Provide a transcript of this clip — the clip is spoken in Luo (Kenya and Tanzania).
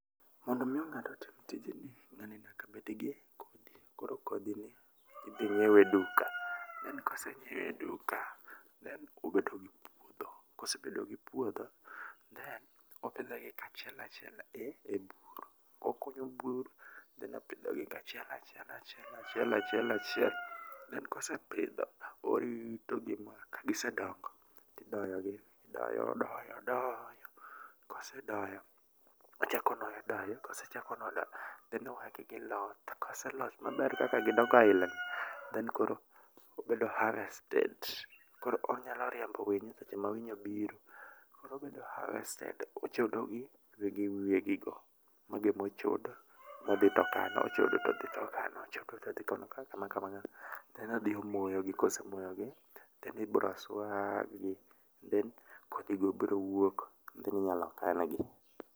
Mondo omi ng'ato otim tijni, ng'ani nyaka bed gi kodhi ni. koro kodhi ni idhi nyiew e duka kose nyiewe e duka then obedo gi puodho. kosebedo gi puodho, then opidho achiel achiel e bur. okunyo bur then opidho gi achiel achie achiel achiel achiel achiel then kosepidho, orito gi ma kagise dongo tidoyo gi odoyo odoyo odoyo kosedoyo, ochako onuoyo doyo kosechako nuoyo doyo then owegi giloth. koseloth maber kaka gidongo aila ni then koro obedo harvested. koro onyalo riembo winyo seche ma winy obiro. obedo harvested, ochodo gi gi wiye gi go. mago ema ochodo to odhi ochodo to odhi to okano then odhi omoyo gi, kose moyo gi, then ibiro swag then kodhi go biro wuok then inyalo kan gi.